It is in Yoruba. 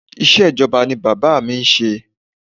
Iṣẹ́ ijoba ni bàbá mi ń ṣe.